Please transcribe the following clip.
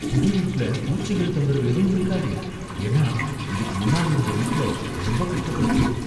புது வீட்ல பூச்சிகள் தொந்திரவு எதுவும் இருக்காதே ஏன்னா இதுக்கு முன்னால இருந்த வீட்டுல ரொம்ப கஷ்டப்பட்டுட்டேன்.